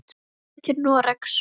Hann fer til Noregs.